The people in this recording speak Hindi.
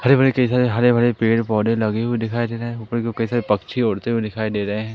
हरे भरे कई सारे हरे भरे पेड़ पौधे लगे हुए दिखाई दे रहे है ऊपर की ओर कई सारे पक्षी उड़ते हुए दिखाई दे रहे हैं।